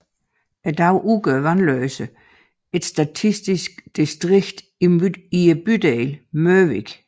I dag udgør Vandløs et statistisk distrikt i bydelen Mørvig